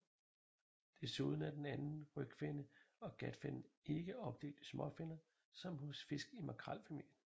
Desuden er den anden rygfinne og gatfinnen ikke opdelt i småfinner som hos fisk i makrelfamilien